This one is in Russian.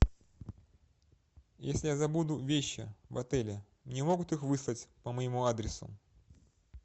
если я забуду вещи в отеле мне могут их выслать по моему адресу